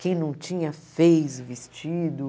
Quem não tinha fez o vestido.